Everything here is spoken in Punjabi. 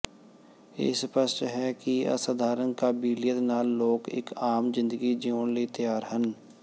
ਇਹ ਸਪਸ਼ਟ ਹੈ ਕਿ ਅਸਧਾਰਨ ਕਾਬਲੀਅਤ ਨਾਲ ਲੋਕ ਇੱਕ ਆਮ ਜ਼ਿੰਦਗੀ ਜੀਉਣ ਲਈ ਤਿਆਰ ਹਨ